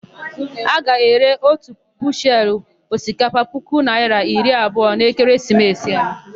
A ga-ere ótù bushelu osikapa puku naịra iri abụọ n'ekeresimesi a.